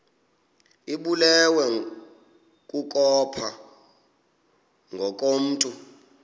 ibulewe kukopha ngokomntu